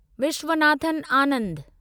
Viswanathan Anand